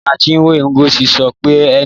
Ìyá Chinwe, Ngozi, sọ pé Nne.